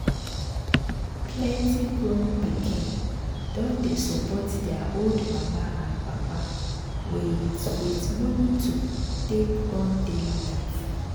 plenty grown pikin don dey support their old mama and papa with with money to take run daily life.